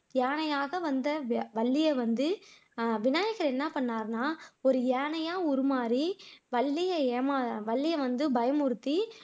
யானையாக ஆக வந்து வள்ளியை வந்து விநாயகர் என்ன பண்ணுனார்னா ஒரு யானையா உருமாறி வள்ளிய ஏமா வள்ளிய வந்து பயமுறுத்தி